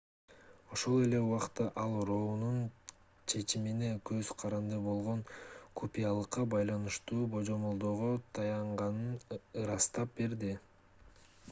ошол эле убакта ал роунун чечимине көз каранды болгон купуялыкка байланыштуу божомолдоого таянганын ырастап берди